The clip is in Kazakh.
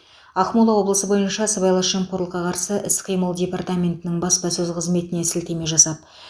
ақмола облысы бойынша сыбайлас жемқорлыққа қарсы іс қимыл департаментінің баспасөз қызметіне сілтеме жасап